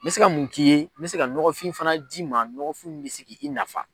N bɛ se ka mun k'i ye n bɛ se ka ɲɔgɔfin fana d'i ma ɲɔgɔfin mun fana bɛ se k'i nafa.